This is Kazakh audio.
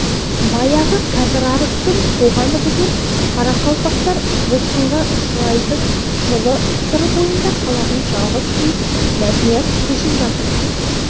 баяғы кәпірарықтың тоғаны бұзылып қарақалпақтар босқынға ұшырайтын жылы сыр бойында қалатын жалғыз үй мәтнияз көшіп жатыр